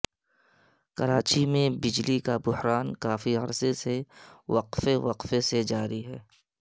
کراچی میں بجلی کا بحران کافی عرصے سے وقفے وقفے سے جاری ہے